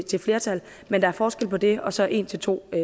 til flertal men der er forskel på det og så en til to